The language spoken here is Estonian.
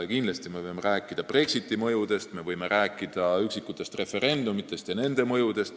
Kindlasti me võime rääkida Brexiti mõjudest ning üksikutest referendumitest ja nende mõjudest.